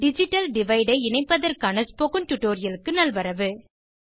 digital டிவைடை இணைப்பதற்கான spoken டுடோரியலுக்கு நல்வரவு